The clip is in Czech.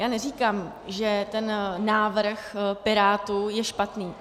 Já neříkám, že ten návrh Pirátů je špatný.